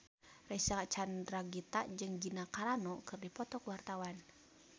Reysa Chandragitta jeung Gina Carano keur dipoto ku wartawan